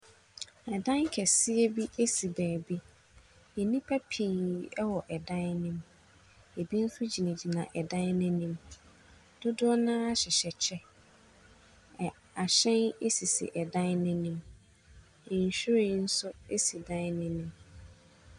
Ɛdan kɛseɛ bi esi beebi. Enipa pii ɛwɔ ɛdan no mu. Ebi mo so gyinagyina ɛdan n'enim. Dodoɔ naa hyehyɛ kyɛ. Ahyɛn esisi ɛdan no enim. Nhwiren so esi ɛdan n'enim.